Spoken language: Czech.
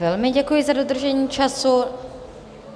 Velmi děkuji za dodržení času.